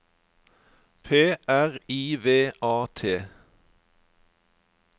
P R I V A T